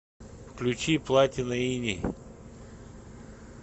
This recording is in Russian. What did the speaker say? включи платина иней